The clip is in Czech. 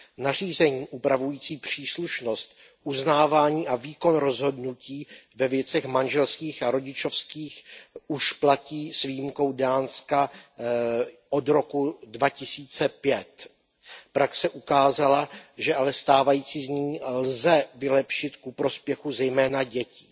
Nařízení upravující příslušnost, uznávání a výkon rozhodnutí ve věcech manželských a rodičovských už platí s výjimkou Dánska od roku 2005. Praxe ukázala, že ale stávající znění lze vylepšit ku prospěchu zejména dětí.